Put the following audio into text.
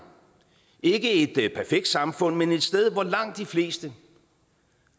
ikke et perfekt samfund men et sted hvor langt de fleste